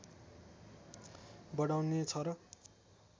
बढाउने छ र